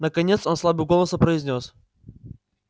наконец он слабым голосом произнёс